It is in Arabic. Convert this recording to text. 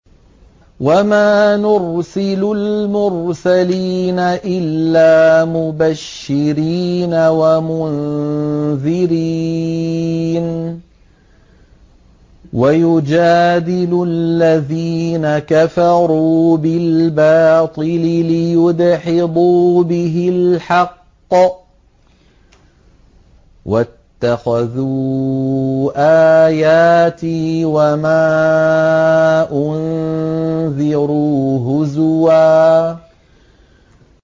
وَمَا نُرْسِلُ الْمُرْسَلِينَ إِلَّا مُبَشِّرِينَ وَمُنذِرِينَ ۚ وَيُجَادِلُ الَّذِينَ كَفَرُوا بِالْبَاطِلِ لِيُدْحِضُوا بِهِ الْحَقَّ ۖ وَاتَّخَذُوا آيَاتِي وَمَا أُنذِرُوا هُزُوًا